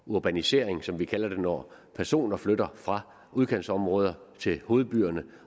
urbanisering som vi kalder det når personer flytter fra udkantsområder til hovedbyerne